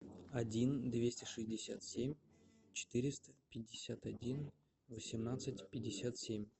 один двести шестьдесят семь четыреста пятьдесят один восемнадцать пятьдесят семь